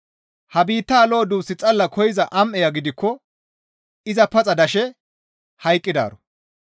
Ha biittaa lo7o duus xalla koyza am7eya gidikko iza paxa dashe hayqqidaaro.